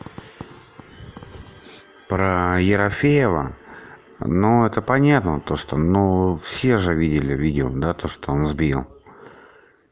про ерофеева ну это понятно то что но все же видели видео да то что он сбил